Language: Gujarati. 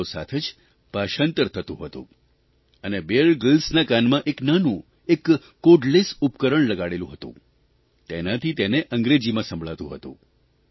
સાથો સાથ જ ભાષાંતર થતું હતું અને બીયર ગ્રીલ્સના કાનમાં એક નાનું એક કોર્ડલેસ ઉપકરણ લગાડેલું હતું તેનાથી તેને અંગ્રેજીમાં સંભળાતું હતું